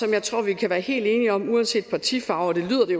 jeg tror vi kan være helt enige om uanset partifarve det lyder det